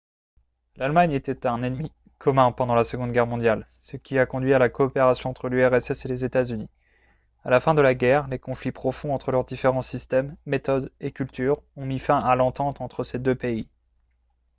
l'allemagne était un ennemi commun pendant la seconde guerre mondiale ce qui a conduit à la coopération entre l'urss et les états-unis à la fin de la guerre les conflits profonds entre leurs différents systèmes méthodes et cultures ont mis fin à l'entente entre ces deux pays